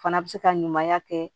Fana bɛ se ka ɲumanya kɛ